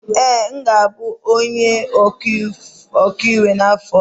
Ee, m ga-abụ onye ọkaiwu n'afọ ọzọ